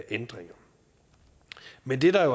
ændringer men det der